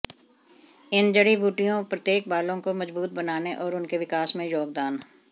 इन जड़ी बूटियों प्रत्येक बालों को मजबूत बनाने और उनके विकास में योगदान